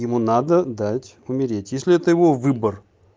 ему надо дать умереть если это его выбор